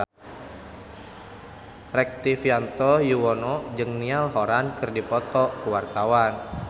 Rektivianto Yoewono jeung Niall Horran keur dipoto ku wartawan